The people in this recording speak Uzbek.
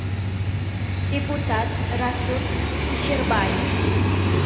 Deputat Rasul Kusherbayev.